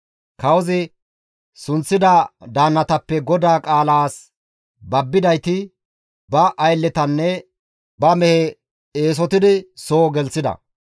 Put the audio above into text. Kawozi sunththida daannatappe GODAA qaalaas babbidayti ba aylletanne ba mehe eesotidi soo gelththida.